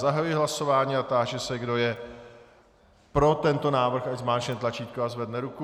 Zahajuji hlasování a táži se, kdo je pro tento návrh, ať zmáčkne tlačítko a zvedne ruku.